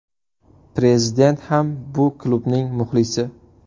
Prezident ham bu klubning muxlisi.